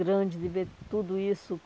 grande, de ver tudo isso.